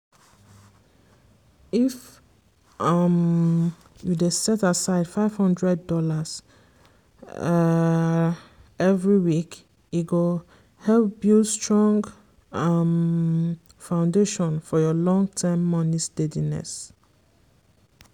if um you dey set aside five hundred dollars um every week e go help build strong um foundation for your long-term money steadiness.